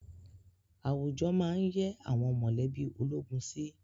Àwùjọ máá ń yẹ́ àwọn mọ̀lẹ́bí ológun sí